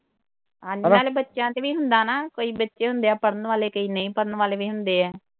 ਹਾਂਜੀ ਨਾਲੇ ਬੱਚਿਆਂ ਤੇ ਵੀ ਹੁੰਦਾ ਨਾ ਕਈ ਬੱਚੇ ਹੁੰਦੇ ਆ ਪੜ੍ਹਨ ਵਾਲੇ ਕਈ ਨਈਂ ਪੜ੍ਹਨ ਵਾਲ਼ੇ ਵੀ ਹੁੰਦੇ ਆ।